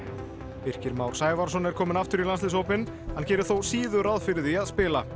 Birkir Már Sævarsson er kominn aftur í landsliðshópinn hann gerir þó síður ráð fyrir því að spila og